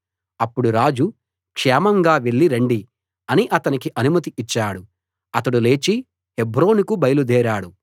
అప్పుడు రాజు క్షేమంగా వెళ్లి రండి అని అతనికి అనుమతి ఇచ్చాడు అతడు లేచి హెబ్రోనుకు బయలుదేరాడు